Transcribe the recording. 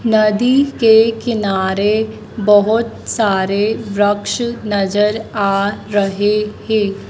नदी के किनारे बहोत सारे वृक्ष नजर आ रहे हैं।